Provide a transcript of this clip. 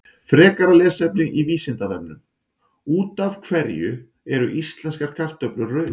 Frekara lesefni á Vísindavefnum: Út af hverju eru íslenskar kartöflur rauðar?